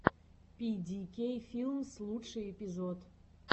пи ди кей филмс лучший эпизод